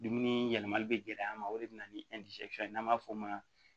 Dumuni yɛlɛmali bɛ gɛlɛya an ma o de bɛ na ni ye n'an b'a fɔ o ma